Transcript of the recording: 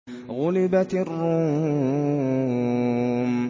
غُلِبَتِ الرُّومُ